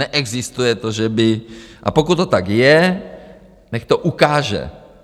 Neexistuje to, že by - a pokud to tak je, nechť to ukáže.